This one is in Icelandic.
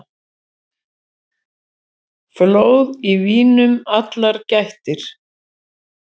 Flóð í vínum allar gættir.